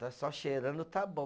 Está só cheirando, está bom.